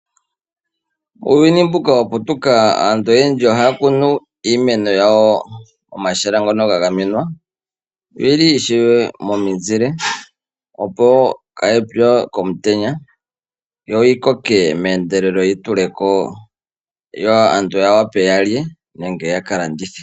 Uuyuni mbuka waputuka aantu oyendji ohaya kunu iimeno yawo momahala ngono ga gamenwa yo oyili ishewe momuzile opo kayipye komutenya yo yi koke mehendelelo yi tuleko wo, yo aantu yawape yalye nenge yakalandithe.